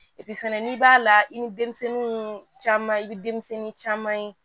fɛnɛ n'i b'a la i ni denmisɛnninw caman i bɛ denmisɛnnin caman ye